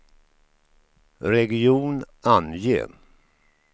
region, ange